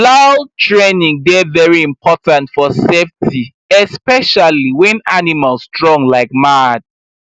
plow training dey very important for safety especially when animal strong like mad